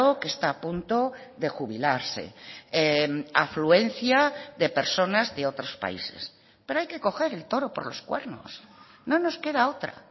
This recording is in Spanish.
que está a punto de jubilarse afluencia de personas de otros países pero hay que coger el toro por los cuernos no nos queda otra